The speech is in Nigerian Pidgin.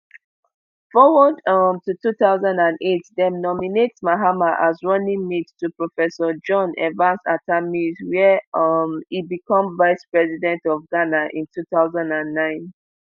forward um to two thousand and eight dem nominate mahama as running mate to professor john evans atta mills wia um e become vice president of ghana in two thousand and nine